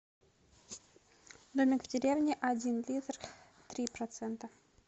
домик в деревне один литр три процента